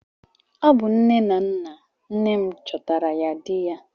Ọ bụ nne na nna nne m chọtara ya di ya.